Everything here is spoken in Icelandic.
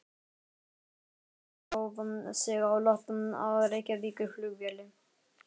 Flugbáturinn hóf sig á loft frá Reykjavíkurflugvelli.